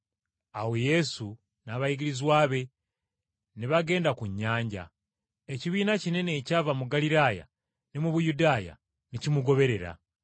Awo Yesu n’abayigirizwa be ne bagenda ku nnyanja. Ekibiina kinene ekyava mu Ggaliraaya ne mu Buyudaaya ne kimugoberera.